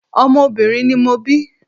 Ọmọ obìnrin ni mo bí.